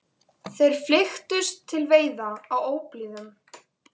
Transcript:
Þeir flykktust til veiða á óblíðum